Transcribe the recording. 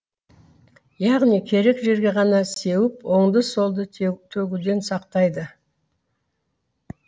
яғни керек жерге ғана сеуіп оңды солды төгуден сақтайды